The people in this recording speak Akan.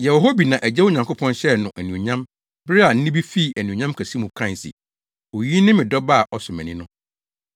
Yɛwɔ hɔ bi na Agya Onyankopɔn hyɛɛ no anuonyam bere a nne bi fii Anuonyam kɛse mu kae se, “Oyi ne me Dɔba a ɔsɔ mʼani!” no.